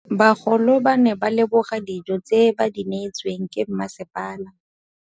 Bagolo ba ne ba leboga dijô tse ba do neêtswe ke masepala.